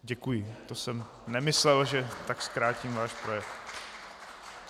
Děkuji, to jsem nemyslel, že tak zkrátím váš projev.